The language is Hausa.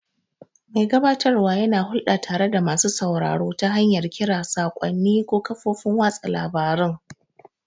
Mai gabatarwa yana hulɗa tare da masu sauraro ta hanyar kira, saƙonni, ko kafofin watsa labarun.